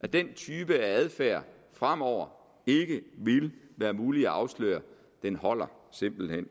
at den type adfærd fremover ikke ville være mulig at afsløre holder simpelt hen